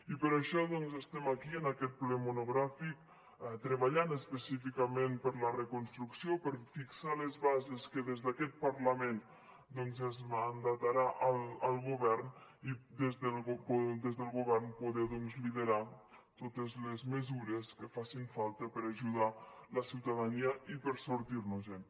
i per això doncs estem aquí en aquest ple monogràfic treballant específicament per la reconstrucció per fixar les bases que des d’aquest parlament doncs es mandataran al govern i des del govern poder liderar totes les mesures que facin falta per a ajudar la ciutadania i per a sortir nos en